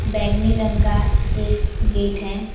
बैगनी रंग का एक गेट है।